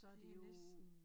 Det næsten